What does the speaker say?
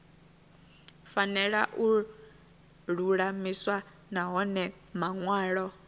fanela u lulamiswa nahone manwalo